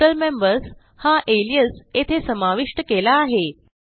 total members हा alias येथे समाविष्ट केला आहे